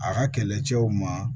A ka kɛlɛcɛw ma